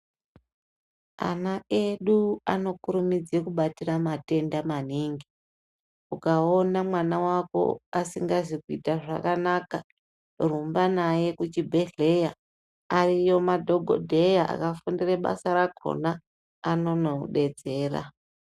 Ana edu anokurumidze kubatira matenda maningi ukaona mwana wako asingazi kuita zvakanaka rumba naye kuchibhedhleya ariyo madhokodheya akafundire basa rakona anonokudetsera.